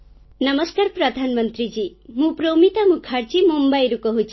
ନମସ୍କାର ପ୍ରଧାନମନ୍ତ୍ରୀ ମୁଁ ପ୍ରୋମିତା ମୁଖାର୍ଜୀ ମୁମ୍ବାଇରୁ କହୁଛି